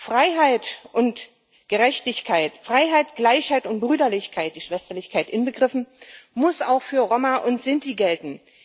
Freiheit und Gerechtigkeit, Freiheit, Gleichheit und Brüderlichkeit die Schwesterlichkeit inbegriffen muss auch für Roma und Sinti gelten.